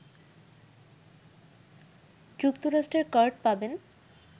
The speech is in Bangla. যুক্তরাষ্ট্রের কার্ড পাবেন